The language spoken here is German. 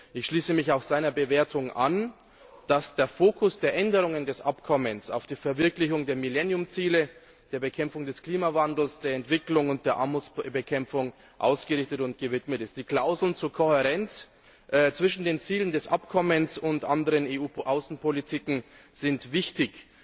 Ich schließe mich auch seiner Bewertung an, dass der Fokus der Änderungen des Abkommens auf die Verwirklichung der Millennium Ziele, der Bekämpfung des Klimawandels, der Entwicklung und der Armutsbekämpfung ausgerichtet ist. Die Klauseln zur Kohärenz zwischen den Zielen des Abkommens und anderen EU Außenpolitiken sind wichtig.